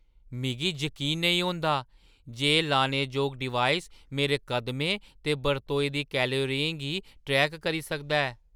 मिगी जकीन नेईं होंदा जे एह् लाने जोग डिवाइस मेरे कदमें ते बरतोई दी कैलोरियें गी ट्रैक करी सकदी ऐ।